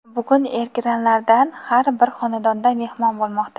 bugun ekranlardan har bir xonadonda "mehmon" bo‘lmoqda.